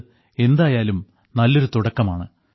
ഇത് എന്തായാലും നല്ലൊരു തുടക്കമാണ്